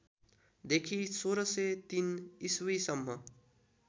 देखि १६०३ इस्वीसम्म